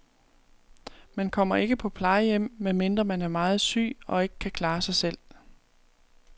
Man kommer ikke på plejehjem, medmindre man er meget syg og ikke kan klare sig selv.